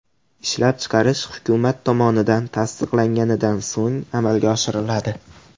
Ishlab chiqarish hukumat tomonidan tasdiqlanganidan so‘ng amalga oshiriladi.